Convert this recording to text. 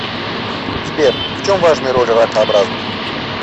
сбер в чем важная роль ракообразных